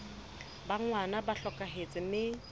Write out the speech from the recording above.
ba ngwana ba hlokahetse mme